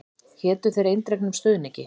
Hétu þér eindregnum stuðningi.